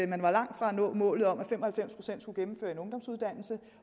man var langt fra at nå målet om at fem og halvfems procent skulle gennemføre en ungdomsuddannelse